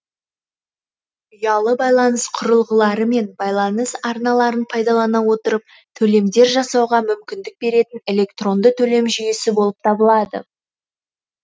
ұялы байланыс құрылғылары мен байланыс арналарын пайдалана отырып төлемдер жасауға мүмкіндік беретін электронды төлем жүйесі болып табылады